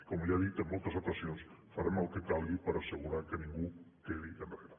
com ja he dit en moltes ocasions farem el que calgui per assegurar que ningú quedi enrere